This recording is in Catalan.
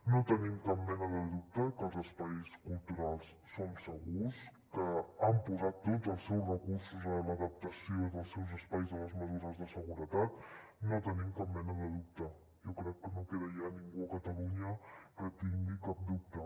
no tenim cap mena de dubte que els espais culturals són segurs que han posat tots els seus recursos a l’adaptació dels seus espais a les mesures de seguretat no en tenim cap mena de dubte jo crec que no queda ja ningú a catalunya que en tingui cap dubte